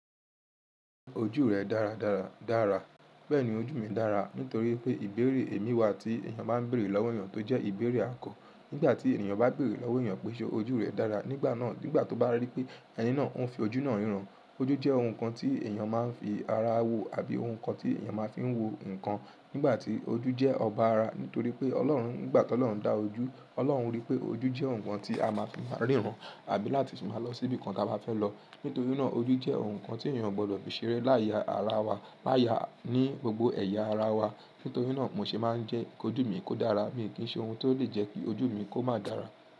Ojú rẹ dáradára dára. Bẹ́ẹ̀ni ojú mi dára nítorí pé ìbéèrè èmi wa tí èèyàn bá ń bèèrè lọ́wọ́ èèyàn tó jẹ́ ìbéèrè àgo. Nígbà tí èèyàn bá ń bèèrè lọ́wọ́ èèyàn péṣe ojú rẹ dára, nígbà náà, nígbà tó bá rí pé ẹni náà ń fi ojú náà ríran. Ojú jẹ́ ohun kan tí èèyàn máa ń fi ara wo àbí ohun kan tí èèyàn máa ń fi wo nǹkan. Nígbà tí ojú jẹ́ ọba ara nítorí pé Ọlọ́run, nígbà tí Ọlọ́run dá ojú, Ọlọ́run rí pé ojú jẹ́ ohun kan tí a máa fi máa ríran àbí láti fi máa lọ síbìkan tí a bá fẹ́ lọ. Nítorí náà ojú jẹ́ ohun kan tí èèyàn gbọ́dọ̀ bí i ṣeré láya ara wa, láya ní gbogbo ẹ̀yà ara wa. Nítorí náà mo ṣe máa ń jẹ́ kí ojú mi kó dára. Mi ò kí ń ṣe ohun tó lè jẹ́ kí ojú mi kó máa dára.